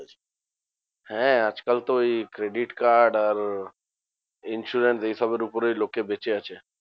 হ্যাঁ আজকাল তো এই credit card আর insurance এইসবের উপরেই লোকে বেঁচে আছে।